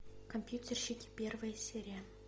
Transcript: компьютерщики первая серия